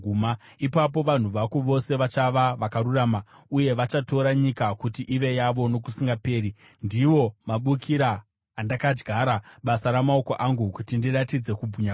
Ipapo vanhu vako vose vachava vakarurama, uye vachatora nyika kuti ive yavo nokusingaperi. Ndivo mabukira andakadyara, basa ramaoko angu, kuti ndiratidze kubwinya kwangu.